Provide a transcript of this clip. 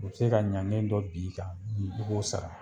U bi se ka ɲange dɔ bin kan, i b'o sara.